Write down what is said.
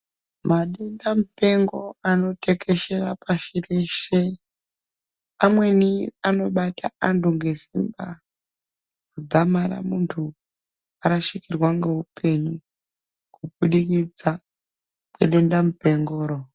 Madenda mupengo anotekeshera pashi reshe amweni anobata antu nezera kudzamara vantu varashikirwa ngehupenyu kubudikidza ngedenda mupengoro.